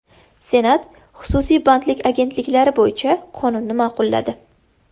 Senat xususiy bandlik agentliklari bo‘yicha qonunni ma’qulladi.